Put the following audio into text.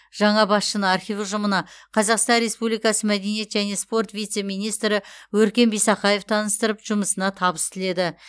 жаңа басшыны архив ұжымына қазақстан республикасы мәдениет және спорт вице министрі өркен бисақаев таныстырып жұмысына табыс тіледі